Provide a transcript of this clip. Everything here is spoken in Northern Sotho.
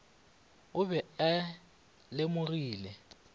o be a e lemogile